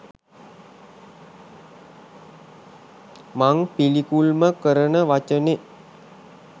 මං පිළිකුල්ම කරන වචනෙ